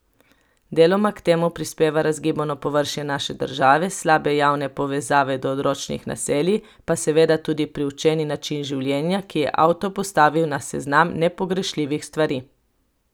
Deloma k temu prispeva razgibano površje naše države, slabe javne povezave do odročnih naselij, pa seveda tudi priučeni način življenja, ki je avto postavil na seznam nepogrešljivih stvari.